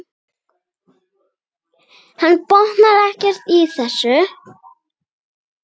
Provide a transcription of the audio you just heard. Hann botnaði ekkert í þessu.